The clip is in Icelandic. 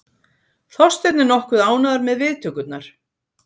Þorsteinn er nokkuð ánægður með viðtökurnar.